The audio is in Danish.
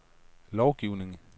lovgivning